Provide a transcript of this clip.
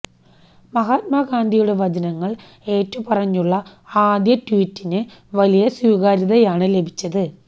മഹാത്മ ഗാന്ധിയുടെ വചനങ്ങൾ ഏറ്റുപറഞ്ഞുള്ള ആദ്യ ട്വീറ്റിന് വലിയ സ്വീകാര്യതയാണ് ലഭിച്ചത്